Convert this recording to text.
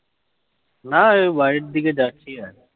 নাই বাড়ির দিকে যাচ্ছি